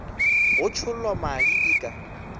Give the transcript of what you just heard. go tšhollwa madi e ka